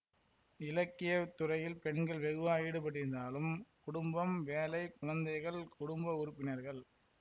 இலக்கியத் துறையில் பெண்கள் வெகுவாக ஈடுபட்டிருந்தாலும் குடும்பம் வேலை குழந்தைகள் குடும்ப உறுப்பினர்கள்